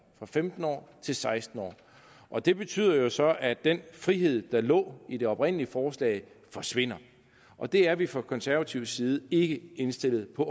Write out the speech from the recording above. fra femten år til seksten år og det betyder jo så at den frihed der lå i det oprindelige forslag forsvinder og det er vi fra konservatives side ikke indstillet på